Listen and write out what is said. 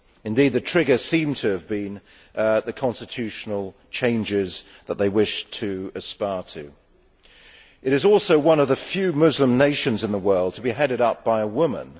Indeed, the trigger seemed to have been the constitutional changes that they wished to aspire to. It is also one of the few Muslim nations in the world to be headed up by a woman